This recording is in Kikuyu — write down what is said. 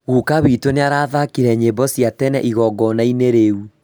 Guka witũ nĩarathakire nyĩmbo cia tene igongona-inĩ rĩu